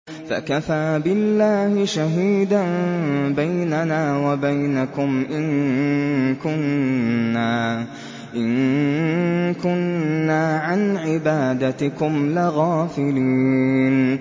فَكَفَىٰ بِاللَّهِ شَهِيدًا بَيْنَنَا وَبَيْنَكُمْ إِن كُنَّا عَنْ عِبَادَتِكُمْ لَغَافِلِينَ